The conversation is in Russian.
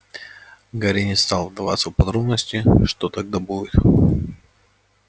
гарри не стал вдаваться в подробности что тогда будет